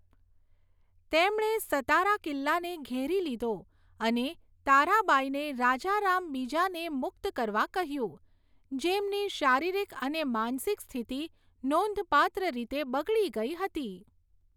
તેમણે સતારા કિલ્લાને ઘેરી લીધો અને તારાબાઈને રાજારામ બીજાને મુક્ત કરવા કહ્યું, જેમની શારીરિક અને માનસિક સ્થિતિ નોંધપાત્ર રીતે બગડી ગઈ હતી.